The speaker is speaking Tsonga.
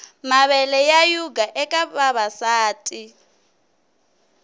mavele ya yhuga eka vavasati